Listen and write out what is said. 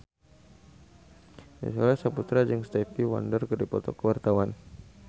Nicholas Saputra jeung Stevie Wonder keur dipoto ku wartawan